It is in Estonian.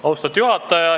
Austatud juhataja!